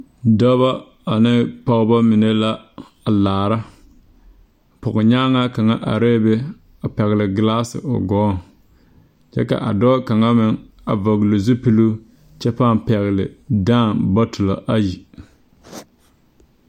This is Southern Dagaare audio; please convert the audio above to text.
Dɔba ane pɔgeba mine la a laara pɔgenyaŋaa kaŋ arɛɛ be a pɛgle gelaase o gɔɔŋ kyɛ ka a dɔɔ kaŋa meŋ a vɔgle zupiluu kyɛ pãâ pɛgle dãã bɔtolɔ ayi.